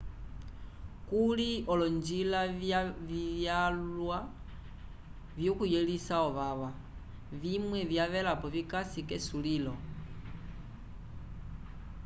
kuli olonjila vyalwa vyokuyelisa ovava vimwe vyavelapo vikasi k'esulilo